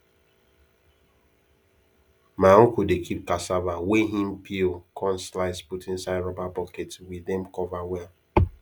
my uncle dey keep cassava way him peel cun slice put inside rubber bucket we dem cover well